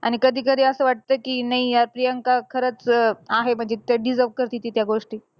आणि कधी कधी असं वाटतं कि नाही यार प्रियांका खरंच अं आहे, म्हणजे ती त्या deserve करती ती त्या गोष्टी.